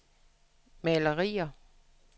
malerier